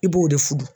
I b'o de furu